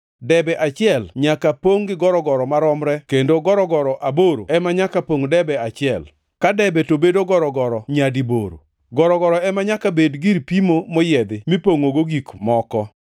Debe achiel nyaka pongʼ gi gorogoro maromre kendo gorogoro aboro ema nyaka pongʼ debe achiel, ka debe to bedo gorogoro nyadi boro. Gorogoro ema nyaka bed gir pimo moyiedhi mipongʼogo gik moko.